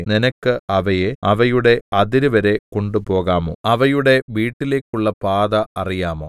നിനക്ക് അവയെ അവയുടെ അതിര് വരെ കൊണ്ടുപോകാമോ അവയുടെ വീട്ടിലേക്കുള്ള പാത അറിയാമോ